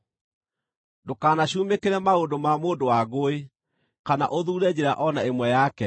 Ndũkanacumĩkĩre maũndũ ma mũndũ wa ngũĩ, kana ũthuure njĩra o na ĩmwe yake,